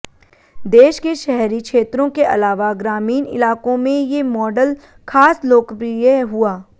देश के शहरी क्षेत्रों के अलावा ग्रामीण इलाकों में ये मॉडल खास लोकप्रिय हुआ